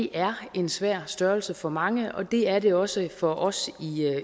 er en svær størrelse for mange og det er det også for os